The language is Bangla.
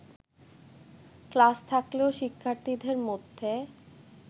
ক্লাস থাকলেও শিক্ষার্থীদের মধ্যে